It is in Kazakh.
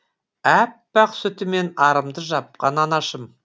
әппақ сүтімен арымды жапқан анашым